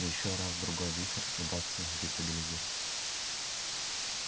ещё раз-другой вихрь удастся дестабилизировать